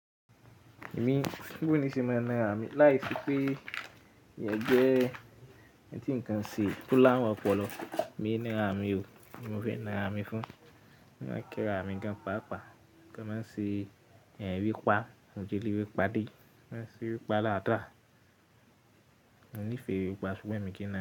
Èmi, Bo nìṣe máa ń nara mí láìsí pé ìyàn jẹ ẹ́. Ẹ̀ tí nǹkan ṣe tó lárun ọpọlọ, èmi ń nara mí o, ki n mò fe nara mí fún. Wọ́n máa ń kí ra mi gan paapaa, kí wọ́n má ṣe yan ewé pá, mo ti rí ewé pa dé, wọ́n má ṣe ewé pa látà, mo nífẹ̀ẹ́ ewé pa ṣúgbọ́n èmi kì í na á.